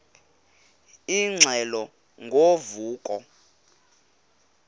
ingxelo ngo vuko